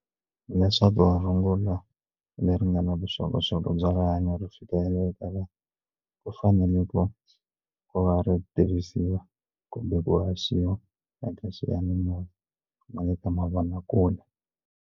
Hileswaku rungula leri nga na vuxokoxoko bya rihanyo ri fikelela eka ku ku fanele ku ku va ri tirhisiwa kumbe ku haxiwa eka xiyanimoya na le ka mavonakule.